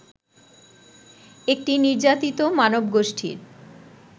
একটি নির্যাতিত মানবগোষ্ঠীর